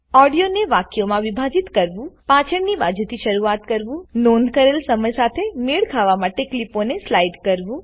audio ને વાક્યો માં વિભાજીત કરવુંપાછડની બાજુથી શરૂઆત કરવુંનોંધ કરેલ સમય સાથે મેળ ખાવા માટે કલીપો ને સ્લાઈડ કરવું